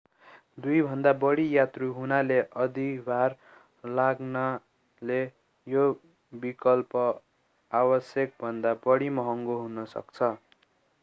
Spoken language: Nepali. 2भन्दा बढी यात्रु हुनाले अधिभार लाग्नाले यो विकल्प आवश्यकभन्दा बढी महँगो हुन सक्छ